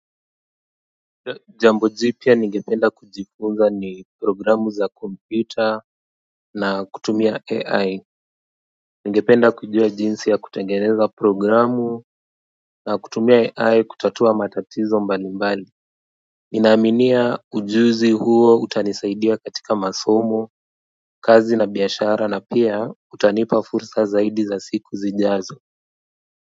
Jambo jipya nigependa kujifunza ni programu za kompyuta na kutumia AI. Ningependa kujua jinsi ya kutengeneza programu na kutumia AI kutatua matatizo mbali mbali ninaaminia ujuzi huo utanisaidia katika masomo, kazi na biashara na pia utanipa fursa zaidi za siku zijazo kwa hivyo.